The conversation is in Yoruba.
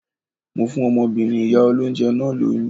Mo fún ọmọbìnrin ìyá olóńjẹ náà lóyún.